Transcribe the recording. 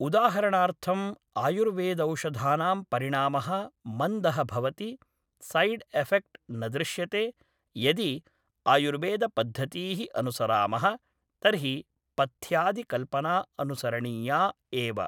उदाहरणार्थम् आयुर्वेदौषधानां परिणामः मन्दः भवति सैड् एफ़ेक्ट् न दृश्यते यदि आयुर्वेदपद्धतीः अनुसरामः तर्हि पथ्यादिकल्पना अनुसरणीया एव